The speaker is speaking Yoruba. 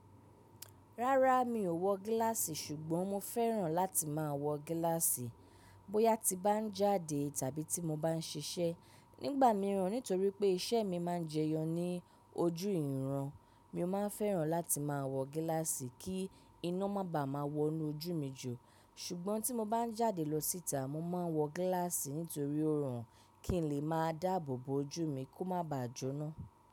Rárá, mi ò wọ gíláàsì ṣùgbọ́n mo fẹ́ràn láti máa wọ gíláàsì. Bóyá tí n bá ń jáde tàbí tí mo bá ń ṣiṣẹ́, nígbà mìíràn nítorí pé iṣẹ́ mi má ń jẹyọ ní ojú ìran, mi ó má ń fẹ́ràn láti máa wọ gíláàsì kí iná má ba à má wọ inú ojú mi jù. Ṣùgbọ́n tí mo bá ń jáde lọ síta, mo máa wọ gíláàsì nítorí òórùn kí n lè má dàbò bo ojú mi kó má baà jóná.